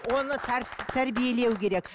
оны тәрбиелеу керек